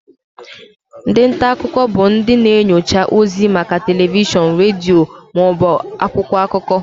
Ndị nta akụkọ bụ ndị na-enyocha ozi maka telivishọn, redio ma ọ bụ akwụkwọ akụkọ.